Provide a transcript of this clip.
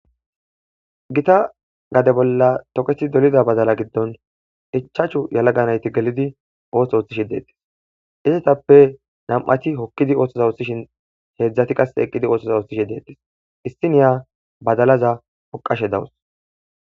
Gita gade bolla tokethi dolida badala giddon ichaachu yalaganayti gelidi ooth ooththishi deettis isetappe nam'ati hokkidi ooththoza usthishin heedzdzati qas eqqidi oothtosa oohthishi deettis issiniya badalaza oqashe dawus.